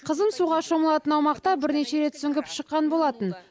қызым суға шомылатын аумақта бірнеше рет сүңгіп шыққан болатын